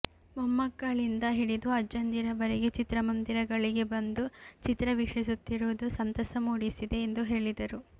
ಮೊಮ್ಮಕ್ಕಳಿಂದ ಹಿಡಿದು ಅಜ್ಜಂದಿರವರೆಗೆ ಚಿತ್ರಮಂದಿರಗಳಿಗೆ ಬಂದು ಚಿತ್ರ ವೀಕ್ಷಿಸುತ್ತಿರುವುದು ಸಂತಸ ಮೂಡಿಸಿದೆ ಎಂದು ಹೇಳಿದರು